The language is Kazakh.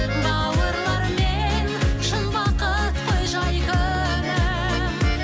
бауырлармен шын бақыт қой жай күнім